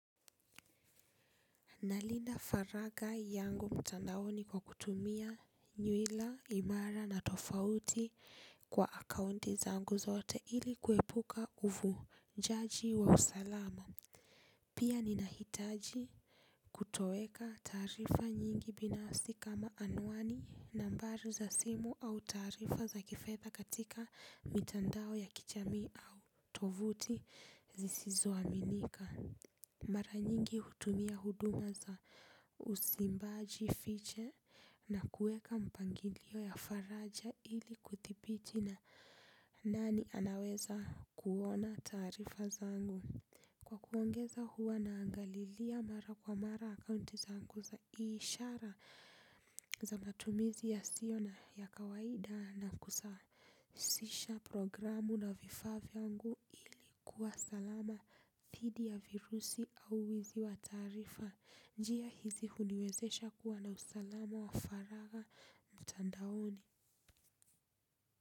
Nalinda faragha yangu mtandaoni kwa kutumia nywila imara na tofauti kwa akaunti zangu zote ili kuepuka uvunjaji wa usalama. Pia ninahitaji kutoweka taarifa nyingi binafsi kama anwani nambari za simu au taarifa za kifedha katika mitandao ya kijamii au tovuti zisizo aminika. Mara nyingi hutumia huduma za usimbaji fiche na kueka mpangilio ya faraja ili kudhibiti na nani anaweza kuona taarifa zangu. Kwa kuongeza huwa naangalilia mara kwa mara akaunti zanku sa ishara za matumizi yasio na ya kawaida na kusasisha programu na vifaa vyangu ikuwa salama thidi ya virusi au wizi wa taarifa, njia hizi uniwezesha kuwa na usalama wa faraga mtandaoni.